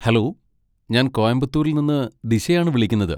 Hello! ഞാൻ കോയമ്പത്തൂരിൽ നിന്ന് ദിശയാണ് വിളിക്കുന്നത്.